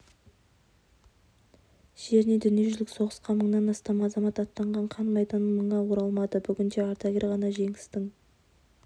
жерінен дүниежүзілік соғысқа мыңнан астам азамат аттанған қан майданнан мыңы оралмады бүгінде ардагер ғана жеңістің